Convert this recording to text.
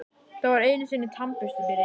Það var einusinni tannbursti, byrja ég.